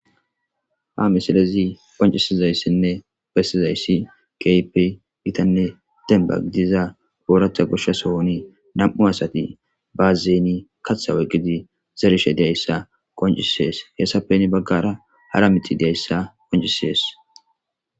Ha missilezi bessizayssi kehippe gittane dembba giidida oraththa goshsha sohon nam'u asati baazen kaththa oyqqidi zerishe dizayssa qonccisess hessappe heni baggara haara miththatika dizayssa qonccises.